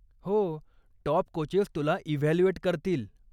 हो, top coaches तुला evaluate करतील.